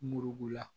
Muru la